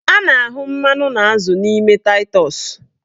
A na-ahụ mmanụ na azụ n'ime taịtọs